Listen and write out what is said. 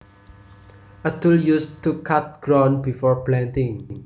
A tool used to cut ground before planting